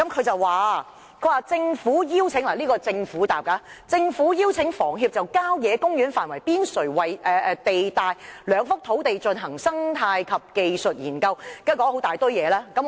政府的答覆是："政府邀請房協就郊野公園範圍邊陲地帶兩幅土地進行生態及技術研究"，然後列舉了很多原因。